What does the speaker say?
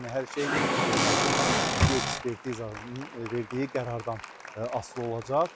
Yəni hər şey məhkəmə tibbi ekspertizanın verdiyi qərardan asılı olacaq.